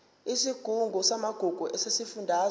isigungu samagugu sesifundazwe